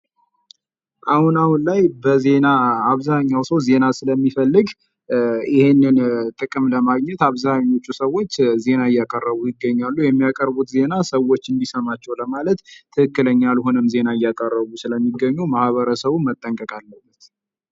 አሁን አሁን ላይ በዜና አብዛኛው ሰው ዜና ስለሚፈልግ ይህንን ጥቅም ስለሚፈልግ ይህንን አብዛኞቹ ሰዎች ዜና እያቀረቡ ይገኛሉ ። የሚያቀርቡት ዜና ሰዎች እንዲሰማቸው ለማድረግ ትክክለኛ ያልሆነም ዜና እያቀረቡ ስለሚገኙ ማህበረሰቡ ጠንቀቅ አለበት ።